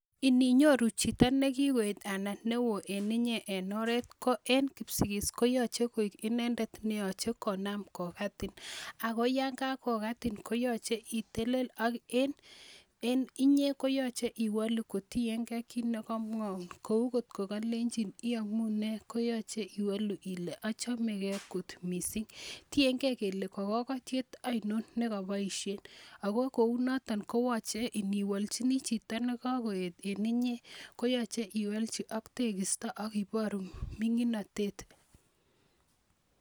Ininyoru chito ne kikoet anan ne oo en inye en oret ko en Kipsigis koyache koik inendet ne yache konam kokatin ako yan kakokatin ko yache itelel ak en inye koyache iwalu kotien gei kiit ne kamwaun kou kot ko lenchin "yamune" koyache iwalu ile "achemegei kot missing". Tiengei kole ka kakatiet ainon ne kapaishe ako kou noton koyache iniwalchini chito ne ka koet en inye koyache iwalu ak tekista ak i paru mining'atet.